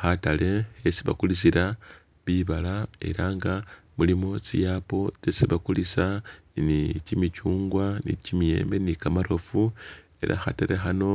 Khatale khesi bakulisila bibala ela nga mulimo tsi apple tsyesi bakulisa, ni kimicyungwa, ni kimiyembe ni kamarofu, ela khatale khano